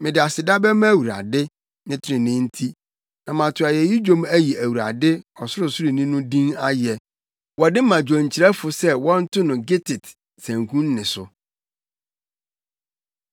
Mede aseda bɛma Awurade, ne trenee nti, na mato ayeyi dwom ayi Awurade, Ɔsorosoroni no din ayɛ. Wɔde ma dwonkyerɛfo se wɔnto no “gittit” sanku nne so.